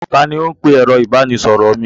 Ta ni ó ń pe ẹ̀rọ ìbanisọ̀rọ̀ mi?